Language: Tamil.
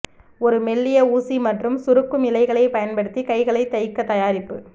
ஒரு மெல்லிய ஊசி மற்றும் சுருக்கும் இழைகள் பயன்படுத்தி கைகளை தைக்க தயாரிப்பு